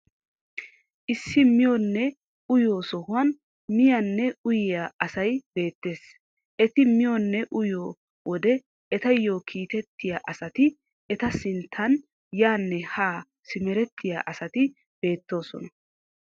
Issi miyoonne uyiyoo sohuwaan miyaanne uyiyaa asay beettees. Eti miyoonne uyiyoo wode etayoo kiitettiyaa asati eta sinttan yaanne haa simerettiyaa asati beettoosona.